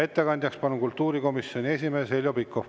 Ettekandjaks on kultuurikomisjoni esimees Heljo Pikhof.